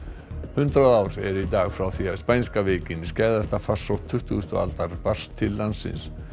hundrað ár eru í dag frá því spænska veikin farsótt tuttugustu aldar barst til landsins